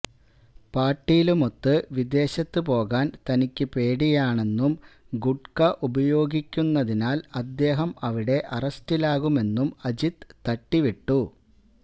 പാട്ടീലുമൊത്ത് വിദേശത്തു പോകാന് തനിക്കു പേടിയാണെന്നും ഗുഡ്ക ഉപയോഗിക്കുന്നതിനാല് അദ്ദേഹം അവിടെ അറസ്റ്റിലാകുമെന്നും അജിത് തട്ടിവിട്ടു